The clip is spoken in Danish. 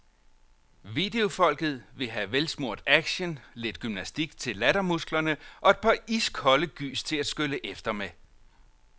Videofolket vil have velsmurt action, lidt gymnastik til lattermusklerne og et par iskolde gys til at skylle efter med.